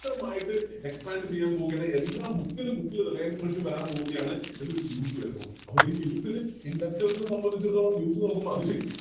ക്തമായിട്ട് Expand ചെയ്യാൻ പോവുകയാണ് എല്ലാ മുക്കില് മൂക്കില് Reliance fresh വരാൻ പോവുകയാണ് എന്നൊരു News വരുന്നു അപ്പോളി News ല് Investors നെ സംബന്ധിച്ചെടുത്തോളം അതുശേരി